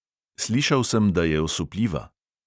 Slišal sem, da je osupljiva.